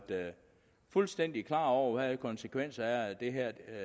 fuldstændig klar over hvad konsekvenserne